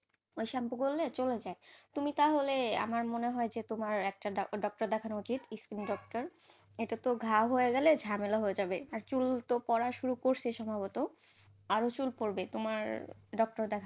ওই shampoo করলে চলে যায়, তুমি তাহলে আমার মনে হয় তোমার একটা doctor দেখানো উচিত, skin doctor এটা তো ঘা হয়ে গেলে, ঝামেলা হয়ে যাবে, আর চুল তো পড়া শুরু করছে সম্ভবত, আরও চুল পরবে তোমার, doctor দেখালে,